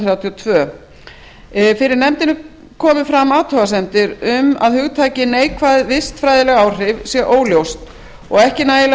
hundruð þrjátíu og tvö fyrir nefndinni komu fram athugasemdir um að hugtakið neikvæð vistfræðileg áhrif sé óljóst og ekki nægilega